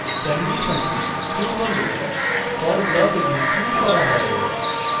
condition true হলে for block execute করা হবে